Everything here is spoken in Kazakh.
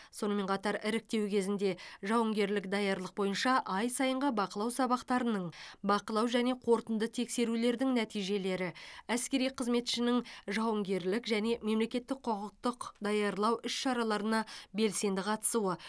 сонымен қатар іріктеу кезінде жауынгерлік даярлық бойынша ай сайынғы бақылау сабақтарының бақылау және қорытынды тексерулердің нәтижелері әскери қызметшінің жауынгерлік және мемлекеттік құқықтық даярлау іс шараларына белсенді қатысуы